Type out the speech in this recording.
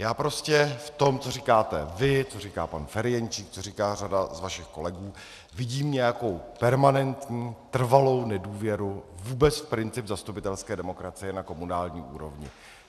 Já prostě v tom, co říkáte vy, co říká pan Ferjenčík, co říká řada z vašich kolegů, vidím nějakou permanentní, trvalou nedůvěru vůbec v princip zastupitelské demokracie na komunální úrovni.